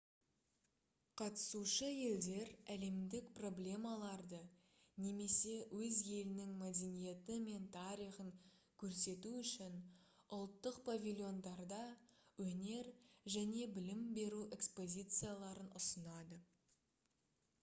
қатысушы елдер әлемдік проблемаларды немесе өз елінің мәдениеті мен тарихын көрсету үшін ұлттық павильондарда өнер және білім беру экспозицияларын ұсынады